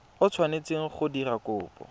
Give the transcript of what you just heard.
o tshwanetseng go dira kopo